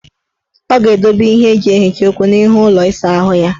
Ọ ga-edobe ihe eji ehicha ukwu n' ihu ụlọ isaahụ ya.